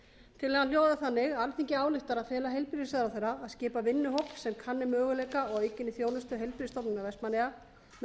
tillagan hljóðar þannig alþingi ályktar að fela heilbrigðisráðherra að skipa vinnuhóp sem kanni möguleika á aukinni þjónustu heilbrigðisstofnunar vestmannaeyja með